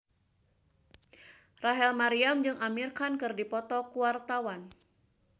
Rachel Maryam jeung Amir Khan keur dipoto ku wartawan